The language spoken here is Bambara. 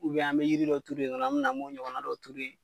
Ubiyɛn an be yiri dɔ turu yen nɔn na an bi na a b'o ɲɔgɔnna dɔ turu yen